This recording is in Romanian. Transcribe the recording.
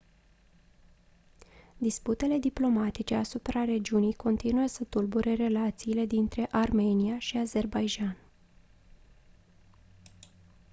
disputele diplomatice asupra regiunii continuă să tulbure relațiile dintre armenia și azerbaidjan